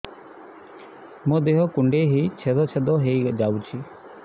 ମୋ ଦେହ କୁଣ୍ଡେଇ ହେଇ ଛେଦ ଛେଦ ହେଇ ଯାଉଛି